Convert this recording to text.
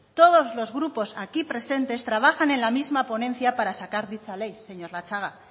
todo los grupos aquí presentes trabajan en la misma ponencia para sacar dicha ley señor latxaga